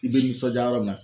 I bɛ nisɔndiya yɔrɔ min na